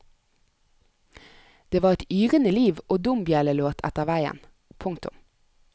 Det var et yrende liv og dombjellelåt etter veien. punktum